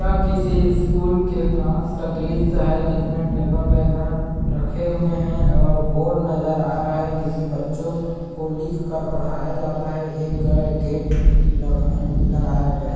यह किसी स्कूल के क्लास का दृश्य है जिसमें टेबल वगैहरा रखे हुए है और बोर्ड नज़र आ रहा है जिस में बच्चों को लिख कर पढ़ाया जाता है एक ग गेट लग लगाया गया है।